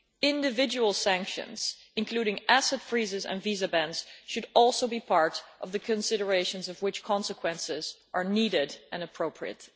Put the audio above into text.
Individual sanctions, including asset freezing and visa bans, should also be part of the consideration of which consequences are needed and appropriate.